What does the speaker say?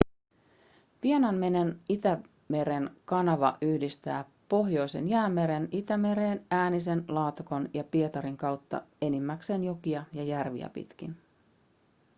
vienanmeren-itämeren kanava yhdistää pohjoisen jäämeren itämereen äänisen laatokan ja pietarin kautta enimmäkseen jokia ja järviä pitkin